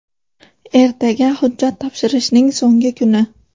Ertaga hujjat topshirishning so‘nggi kuni.